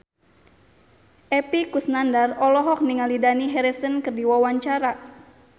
Epy Kusnandar olohok ningali Dani Harrison keur diwawancara